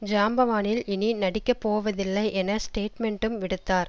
ஜாம்பவானில் இனி நடிக்க போவதில்லை என ஸ்டேட்மெண்ட்டும் விடுத்தார்